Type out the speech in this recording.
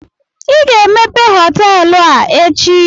I ga-emepe họtelụ a echi!